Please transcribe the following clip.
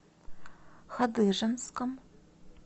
хадыженском